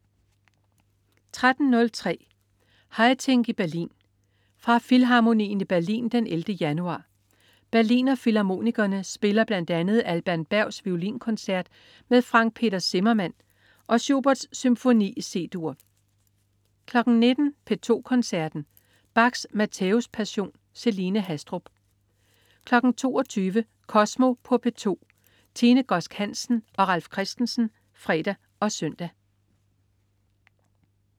13.03 Haitink i Berlin. Fra Filharmonien i Berlin den 11. januar. Berlinerfilharmonikerne spiller bl.a. Alban Bergs Violinkoncert med Frank Peter Zimmermann og Schuberts Symfoni C-dur 19.00 P2 Koncerten. Bachs Mathæus-passion. Celine Haastrup 22.00 Kosmo på P2. Tine Godsk Hansen og Ralf Christensen (fre og søn)